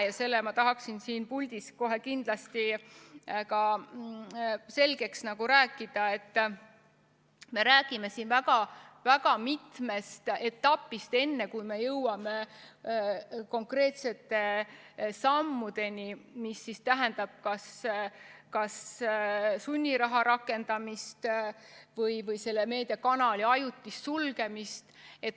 Ja selle ma tahaksin siin puldis kohe kindlasti ka selgeks rääkida, et me räägime siin väga mitmest etapist enne, kui me jõuame konkreetsete sammudeni, mis tähendab kas sunniraha rakendamist või meediakanali ajutist sulgemist.